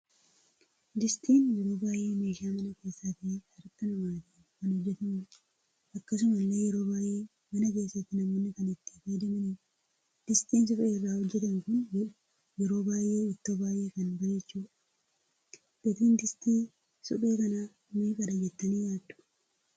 Distiin yeroo baay'ee meeshaa mana keessa ta'e harkaa namaatiin kan hojjetamudha. Akkasumallee yeroo baay'ee mana keessatti namoonni kan itti faayyadamanidha. Distiin suphee irraa hojjetamu kun yeroo baay'ee ittoo baay'ee kan bareechudha. Gatiin distii suphee kana meeqadha jettani yaaddu?